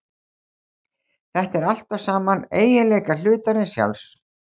Þetta eru allt saman eiginleikar hlutarins sjálfs.